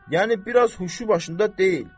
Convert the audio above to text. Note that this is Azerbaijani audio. Yəni biraz huşu başında deyil.